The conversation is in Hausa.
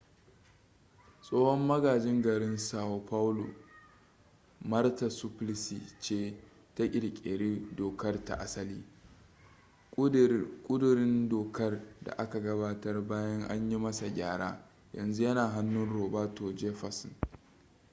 tsohon magajin garin são paulo marta suplicy ce ta kirkiri dokar ta asali. ƙudurin dokar da aka gabatar bayan an yi masa gyara yanzu yana hannun roberto jefferson